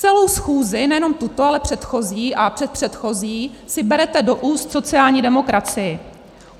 Celou schůzi, nejenom tuto, ale předchozí a předpředchozí si berete do úst sociální demokracii.